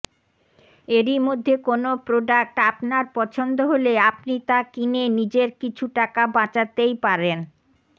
এইর মধ্যে কোন প্রোডাক্ট আপনার পছন্দ হলে আপনি তা কিনে নিজের কিছু টাকা বাচাতেই পারেন